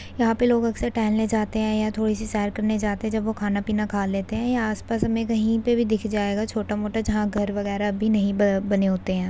यहां पर कुछ लोग टहलने जाते हैं या थोड़ी सी सेर करने जाते हैं जब वो खाना खा लेते हैं। यहाँ आस पास हमें कहीं पर भी दिख जाएगा छोटा मोटा जहां घर वागेर भी नहीं बने होते हैं।